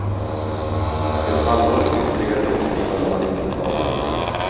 Ett halvårs ytterligare låtskrivande hade inte skadat.